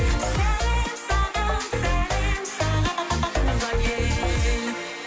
сәлем саған сәлем саған туған ел